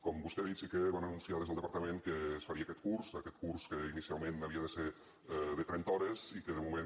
com vostè ha dit sí que van anunciar des del departament que es faria aquest curs aquest curs que inicialment havia de ser de trenta hores i que de moment